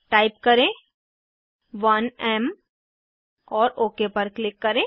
type करें 1एम और ओक पर क्लिक करें